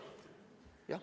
Jah.